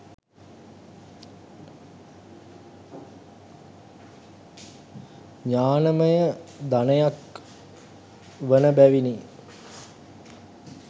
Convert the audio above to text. ඥානයම ධනයක් වන බැවිනි.